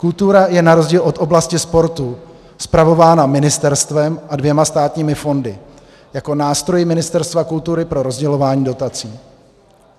Kultura je na rozdíl od oblasti sportu spravována ministerstvem a dvěma státními fondy jako nástroji Ministerstva kultury pro rozdělování dotací.